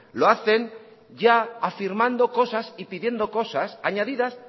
lo hacen ya afirmando cosas y pidiendo cosas añadidas